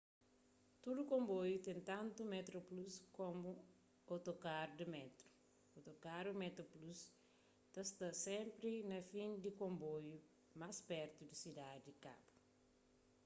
tudu konboiu ten tantu metroplus komu otokarus di métru otokarus metroplus ta sta senpri na fin di konboiu más pertu di sidadi di kabu